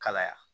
Kalaya